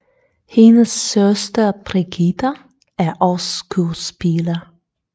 Hendes søster Brigitta er også skuespiller